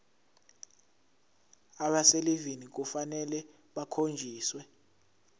abaselivini kufanele bakhonjiswe